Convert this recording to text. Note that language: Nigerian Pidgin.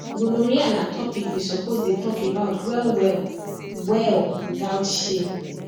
gonorrhea na topic we suppose dey talk about well well well without shame